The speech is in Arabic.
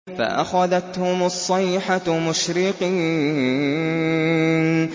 فَأَخَذَتْهُمُ الصَّيْحَةُ مُشْرِقِينَ